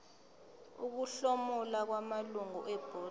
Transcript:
ukuhlomula kwamalungu ebhodi